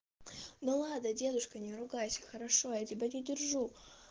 ну ладно дедушка не ругайся хорошо я тебя не держу